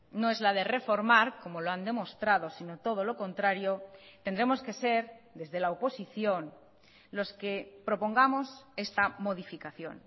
no es la de reformar como lo han demostrado sino todo lo contrario tendremos que ser desde la oposición los que propongamos esta modificación